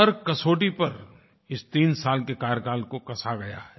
हर कसौटी पर इस 3 साल के कार्यकाल को कसा गया है